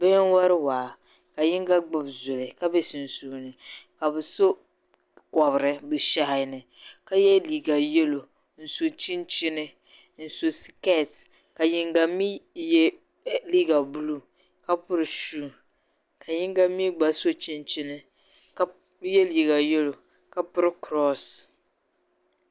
Bihi n-wari waa ka yiŋga gbibi zuli ka be sunsuuni ka bɛ so kɔbiri bɛ shɛhi ni ka ye liiga yɛlo n-so chinchini n-so sikeeti ka yiŋga mi ye liiga buluu ka piri shuu ka yiŋga mi gba so chinchini ka ye liiga yɛlo ka piri kuroosi.